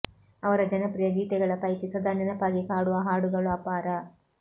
ಅವರ ಜನಪ್ರಿಯ ಗೀತೆಗಳ ಪೈಕಿ ಸದಾ ನೆನಪಾಗಿ ಕಾಡುವ ಹಾಡುಗಳು ಅಪಾರ